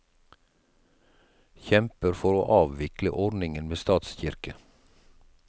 Kjemper for å avvikle ordningen med statskirke.